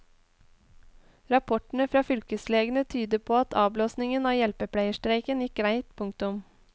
Rapportene fra fylkeslegene tyder på at avblåsningen av hjelpepleierstreiken gikk greit. punktum